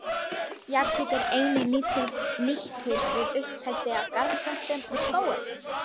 Jarðhiti er einnig nýttur við uppeldi á garðplöntum og skógarplöntum.